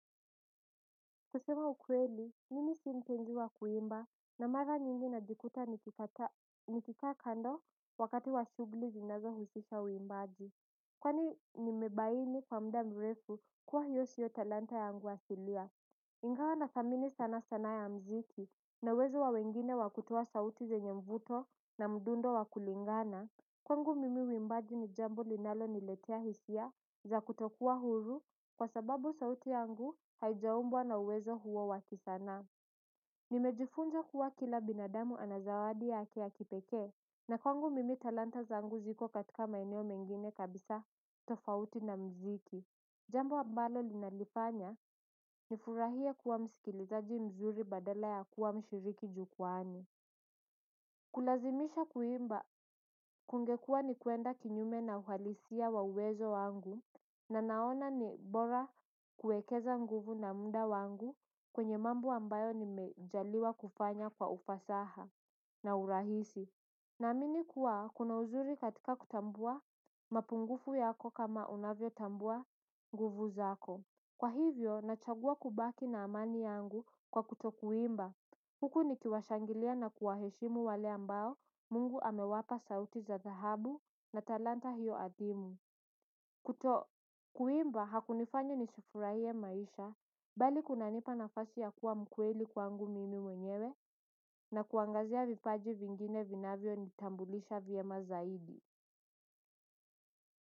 Kusema ukweli, nimi sii mpenzi wa kuimba na mara nyingi najikuta nikika kando wakati wa shugli zinaza husisha uimbaji. Kwani nimebaini kwa mda mrefu kuwa hiyo shio talanta yangu asilia. Ingawa na thamini sana sana ya mziki na uwezo wa wengine wakutoa sauti zenye mvuto na mdundo wa kulingana kwangu mimi uimbaji ni jambo linalo niletia hisia za kutokuwa huru kwa sababu sauti yangu haijaumbwa na uwezo huo wakisanaa. Nimejifunza kuwa kila binadamu ana zawadi yake ya kipeke na kwangu mimi talanta zaangu ziko katika maeneo mengine kabisa tofauti na mziki. Jambo ambalo linalifanya ni furahia kuwa msikilizaji mzuri badala ya kuwa mshiriki jukuani. Kulazimisha kuimba kungekua ni kuenda kinyume na uhalisia wa uwezo wangu na naona ni bora kuekeza nguvu na muda wangu kwenye mambo ambayo ni mejaliwa kufanya kwa ufasaha na urahisi. Na amini kuwa kuna uzuri katika kutambua mapungufu yako kama unavyo tambua nguvu zako. Kwa hivyo, nachagua kubaki na amani yangu kwakuto kuimba. Huku ni kiwashangilia na kuwaheshimu wale ambao mungu amewapa sauti za dhahabu na talanta hiyo adimu. Kuto kuimba, hakunifanyi nisifurahie maisha, bali kuna nipa nafasi ya kuwa mkuweli kwangu mimi mwenyewe na kuangazia vipaji vingine vinavyo nitambulisha vyema zaidi.